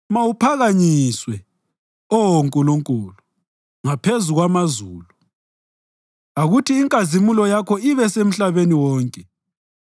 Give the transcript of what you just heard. Mawuphakanyiswe, Oh Nkulunkulu, ngaphezu kwamazulu; akuthi inkazimulo yakho ibesemhlabeni wonke.